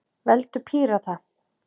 Veldu Pírata.